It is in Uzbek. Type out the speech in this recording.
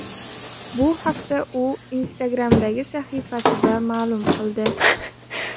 Bu haqda u Instagram’dagi sahifasida ma’lum qildi .